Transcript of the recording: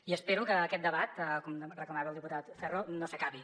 i espero que aquest debat com reclamava el diputat ferro no s’acabi